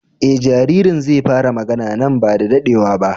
E jaririn zai fara magana nan ba da daɗewa ba.